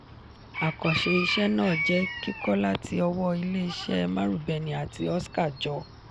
àkànṣe iṣẹ náà jẹ kikọ láti ọwọ ilé iṣé marubeni àti oska-jo.